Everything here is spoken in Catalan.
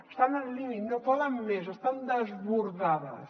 estan al límit no poden més estan desbordades